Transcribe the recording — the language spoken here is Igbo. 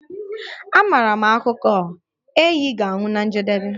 Amaara m akụkọ a, ehi ga-anwụ na njedebe